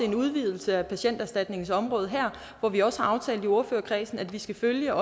en udvidelse af patienterstatningens område her og vi har også aftalt i ordførerkredsen at vi skal følge